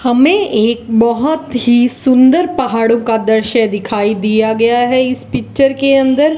हमे एक बहोत ही सुंदर पहाड़ों का दृश्य दिखाई दिया गया है इस पिक्चर के अंदर --